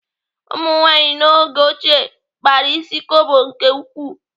Ụmụnwaanyị n'oge ochie kpara ịsị kobo nke ukwuu.